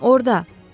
Orda.